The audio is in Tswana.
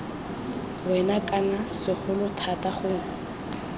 wena kana segolo thata gongwe